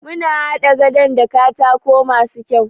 Muna haɗa gadon da katako masu kyau.